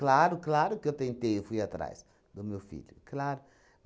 claro que eu tentei, eu fui atrás do meu filho, claro.